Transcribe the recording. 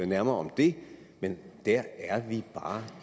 nærmere om det men der er vi bare